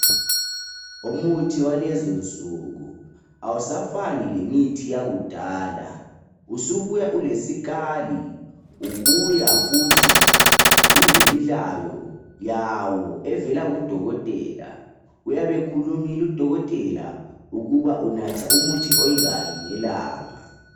Umithi walezi nsuku awusagani lemithi yakudala usubuya ulesikali ubuya futhi ulemilayo yawo evela kudokotela uyabe khulumile udokotela ukuba unatha umuthi onganani ngelanga.